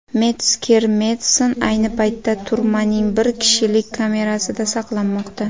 Metsker-Medsen ayni paytda turmaning bir kishilik kamerasida saqlanmoqda.